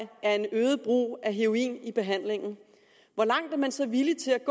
er et øget brug af heroin i behandlingen hvor langt er man så villig til at